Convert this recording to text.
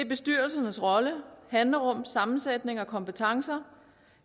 bestyrelsernes rolle handlerum sammensætning og kompetencer